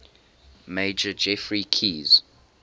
major geoffrey keyes